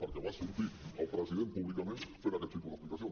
perquè va sortir el president públicament fent aquest tipus d’explicacions